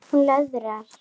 Hún löðrar.